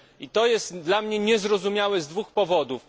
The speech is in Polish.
To jest dla mnie niezrozumiałe z dwóch powodów.